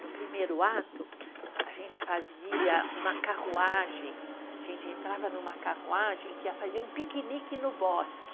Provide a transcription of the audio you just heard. No primeiro ato, a gente fazia uma carruagem, a gente entrava numa carruagem que ia fazer um piquenique no bosque.